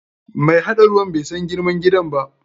Mai haɗa hanyan ruwan bai san girman gidan ba.